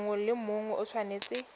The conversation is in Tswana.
mongwe le mongwe o tshwanetse